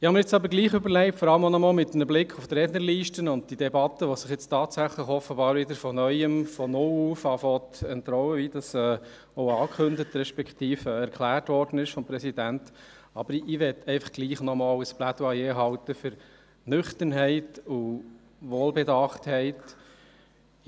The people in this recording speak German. Ich erlaube mir trotzdem, gerade mit Blick auf die Rednerliste und die Debatte, die offenbar von Neuem anfängt, sich zu entrollen, wie es vom Präsidenten angekündigt wurde, ein Plädoyer für die Nüchternheit und Wohlbedachtheit zu halten.